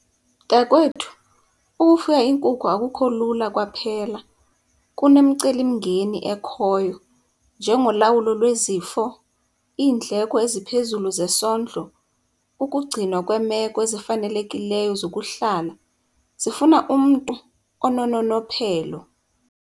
Mntakwethu, ukufuya iinkukhu akukho lula kwaphela. Kunemicelimngeni ekhoyo njengolawulo lwezifo, iindleko eziphezulu zesondlo, ukugcina kweemeko ezifanelekileyo zokuhlala. Zifuna umntu onononophelo.